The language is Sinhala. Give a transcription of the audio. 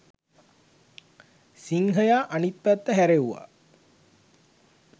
සිංහයා අනිත් පැත්ත හැරෙව්ව